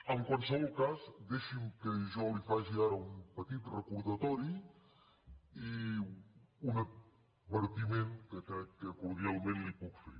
en qualsevol cas deixi’m que jo li faci ara un petit recordatori i un advertiment que crec que cordialment li puc fer